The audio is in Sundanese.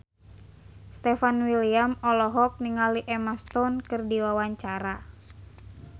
Stefan William olohok ningali Emma Stone keur diwawancara